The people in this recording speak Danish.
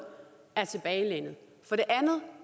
er tilbagelænede for det andet